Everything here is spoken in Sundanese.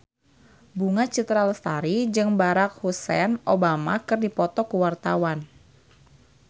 Bunga Citra Lestari jeung Barack Hussein Obama keur dipoto ku wartawan